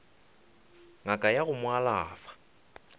ngaka ya go mo alafa